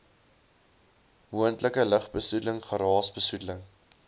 moontlike lugbesoedeling geraasbesoedeling